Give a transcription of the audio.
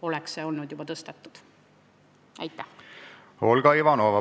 Olga Ivanova, palun!